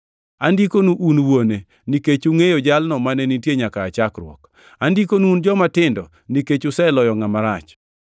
Andikonu un wuone nikech ungʼeyo Jalno mane nitie nyaka aa chakruok. Andikonu, un jomatindo, nikech useloyo ngʼama rach.